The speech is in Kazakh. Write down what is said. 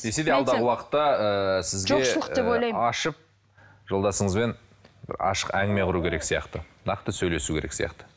десе де алдағы уақытта ыыы сізге ы ашып жолдасыңызбен бір ашық әңгіме құру керек сияқты нақты сөйлесу керек сияқты